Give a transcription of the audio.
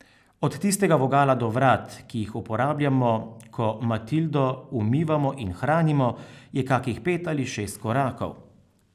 Od tistega vogala do vrat, ki jih uporabljamo, ko Matildo umivamo in hranimo, je kakih pet ali šest korakov.